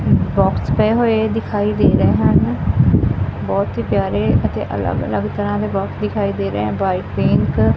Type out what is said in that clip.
box ਪਏ ਹੋਏ ਦਿਖਾਈ ਦੇ ਰਹੇ ਹਨ ਬਹੁਤ ਹੀ ਪਿਆਰੇ ਅਤੇ ਅਲਗ-ਅਲਗ ਤਰ੍ਹਾਂ ਦੇ ਬੋਕ੍ਸ ਦਿਖਾਈ ਦੇ ਰਹੇ ਆ ਵਾਈਟ ਪਿੰਕ --